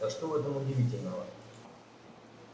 а что в этом удивительного